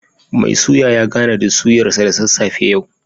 Mai suya ya gana da suyar sa da sassafe yau